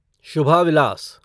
Shubha Vilas